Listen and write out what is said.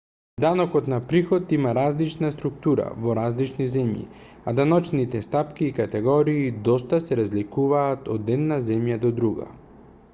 данокот на приход има различна структура во различни земји а даночните стапки и категории доста се разликуваат од една земја до друга